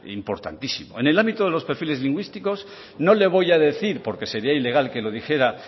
importantísimo en el ámbito de los perfiles lingüísticos no le voy a decir porque sería ilegal que lo dijera